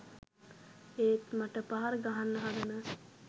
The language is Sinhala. ඒත් මට පහර ගහන්න හදන